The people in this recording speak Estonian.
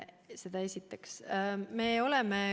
Seda esiteks.